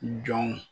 Jɔnw